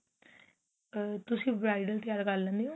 ਆ ਤੁਸੀਂ bridal ਤਿਆਰ ਕਰ ਲੈਂਦੇ ਓ